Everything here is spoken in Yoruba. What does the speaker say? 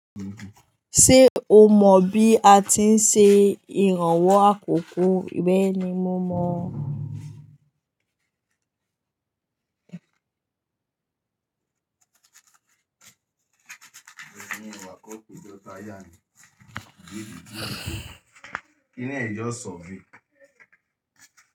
Ṣé o mọ bí a ti ń ṣe ìrànwọ́ àkókò? Bẹ́ẹ̀ni, mo mọ.